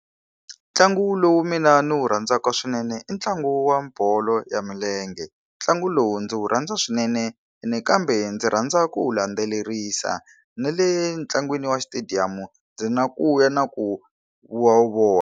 Ntlangu lowu mina ni wu rhandzaka swinene i ntlangu wa bolo ya milenge. Ntlangu lowu ndzi wu rhandza swinene ene kambe ndzi rhandza ku wu landzelerisa. Na le ntlangwini wa xitediyamu, ndzi na ku ya na ku vona.